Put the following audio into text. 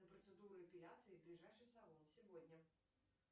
на процедуру эпиляции в ближайший салон сегодня